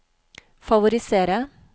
favorisere